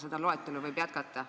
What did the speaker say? Seda loetelu võib jätkata.